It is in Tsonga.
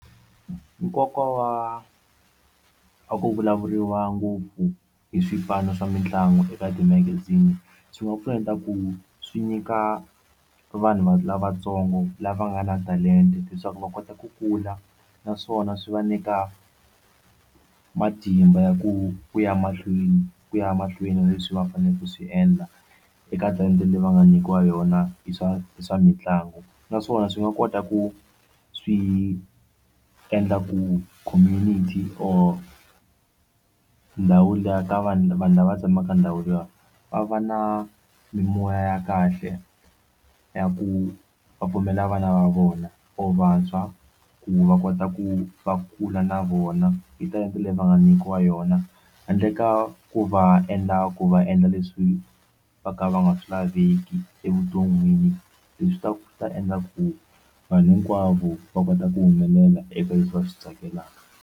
Nkoka wa ku vulavuriwa ngopfu hi swipano swa mitlangu eka timagazini swi nga pfuneta ku swi nyika vanhu lavatsongo lava nga na talenta leswaku va kota ku kula naswona swi va nyika matimba ya ku ku ya mahlweni ku ya mahlweni na leswi va faneleke ku swi endla eka talenta leyi va nga nyikiwa yona hi swa hi swa mitlangu naswona swi nga kota ku swi endla ku community or ndhawu liya ka vanhu vanhu lava tshamaka ndhawu liya va va na mimoya ya kahle ya ku va pfumela vana va vona or vantshwa ku va kota ku va kula na vona hi talenta leyi va nga nyikiwa yona handle ka ku va endla ku va endla leswi va ka va nga swi laveki evuton'wini leswi nga ta endla ku vanhu hinkwavo va kota ku humelela eka leswi va swi tsakelaka.